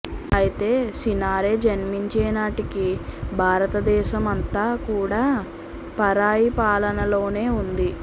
అయితే సినారె జన్మించేనాటికి భారతదేశం అంతా కూడా పరాయి పాలనలోనే ఉంది